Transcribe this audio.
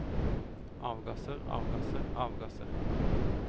avgasser avgasser avgasser